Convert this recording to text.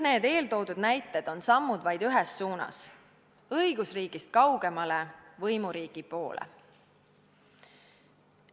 Kõik eeltoodud näited on vaid sammud ühes suunas: õigusriigist kaugemale, võimuriigi poole.